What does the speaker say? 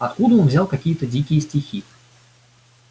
откуда он взял какие-то дикие стихи